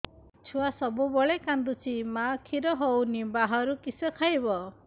ଛୁଆ ସବୁବେଳେ କାନ୍ଦୁଚି ମା ଖିର ହଉନି ବାହାରୁ କିଷ ଖାଇବ